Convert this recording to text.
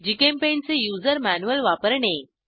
GChemPaint चे user manual वापरणे